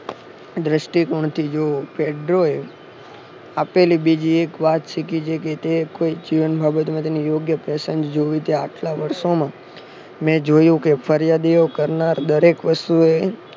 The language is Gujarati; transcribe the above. દ્રષ્ટિકોણથી જોવો પેટ્રો એ આપેલી બીજી એક વાત છે કે જે તે જીવનમ મેં જોયું કે ફરિયાદ એવો કરનાર દરેક વસ્તુ એ